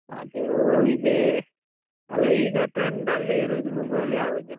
ಅದು ಹೋಗಿದೆ, ಅಲ್ಲಾ ಈಗ trend ಅಲ್ಲಿ ಇರುದು mobile ಯಾವುದು?